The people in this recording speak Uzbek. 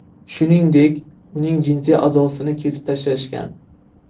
Shuningdek, uning jinsiy a’zosini kesib tashlashgan.